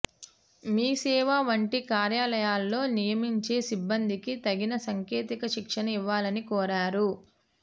మీసేవ వంటి కార్యాలయాల్లో నియమించే సిబ్బందికి తగిన సాంకేతిక శిక్షణ ఇవ్వాలని కోరారు